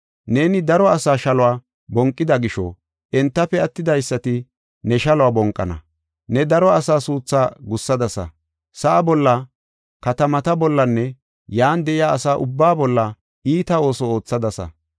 Neeni daro asa shaluwa bonqida gisho, entafe attidaysati ne shaluwa bonqana. Ne daro asa suuthaa gussadasa; sa7aa bolla, katamata bollanne yan de7iya asaa ubbaa bolla iita ooso oothadasa.